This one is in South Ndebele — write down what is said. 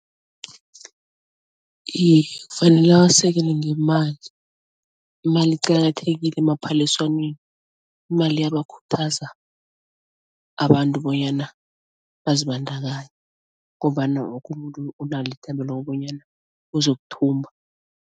Iye kufanele ngemali. Imali iqakathekile emaphaliswaneni, imali iyabakhuthaza abantu bonyana bazibandakanye ngombana woke umuntu unalo ithemba lokobonyana uzokuthumba.